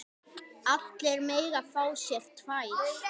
Allir mega fá sér tvær.